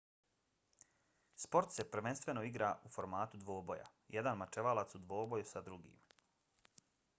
sport se prvenstveno igra u formatu dvoboja jedan mačevalac u dvoboju sa drugim